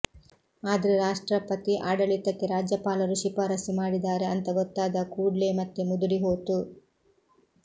ಆದ್ರೆ ರಾಷ್ಟ್ರಪತಿ ಆಡಳಿತಕ್ಕೆ ರಾಜ್ಯಪಾಲರು ಶಿಫಾರಸ್ಸು ಮಾಡಿದಾರೆ ಅಂತ ಗೊತ್ತಾದ ಕೂಡ್ಲೆ ಮತ್ತೆ ಮುದುಡಿ ಹೋತು